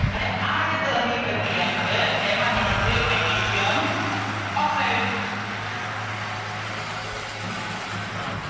ને આ જે દહ ની પ્રક્રિયા છે એમાંથી મળશે magnesium oxcide